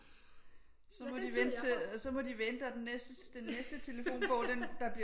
Så måtte de vente til så må de vente og den næste telefonbog den der